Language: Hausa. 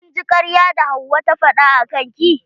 Kin ji karyar da hauwa ta faɗa akan ki?